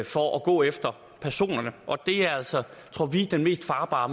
for at gå efter personerne og det er altså tror vi den mest farbare